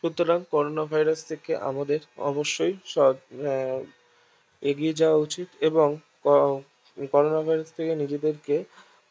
সুতরাং corona Virus থেকে আমাদের অবশ্যই এগিয়ে যাওয়া উচিত এবং করোনা Virus থেকে নিজেদেরকে